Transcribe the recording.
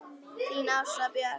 Þín Ása Björg.